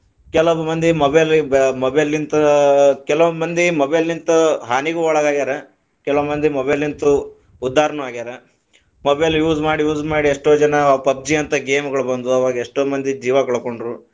ಕೆಲವ ಮಂದಿ mobile ಗ mobile ತ ಕೆಲವ ಮಂದಿ mobile ತ ಹಾನಿಗೂ ಒಳಗಾಗ್ಯಾರ, ಕೆಲವ ಮಂದಿ mobile ತ ಉದ್ದಾರನು ಆಗ್ಯಾರ mobile use ಮಾಡಿ use ಮಾಡಿ ಎಷ್ಟೋ ಜನಾ PUBG ಅಂತ game ಗಳು ಬಂದ್ವು, ಅವಾಗ ಎಷ್ಟೋ ಮಂದಿ ಜೀವಾ ಕಳಕೊಂಡರು.